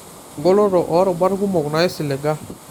Engoloto oo rubat kumok naisiliga.